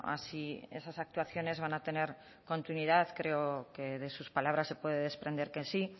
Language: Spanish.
a si esas actuaciones van a tener continuidad creo que de sus palabras se puede desprender que sí